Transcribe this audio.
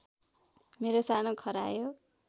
मेरो सानो खरायो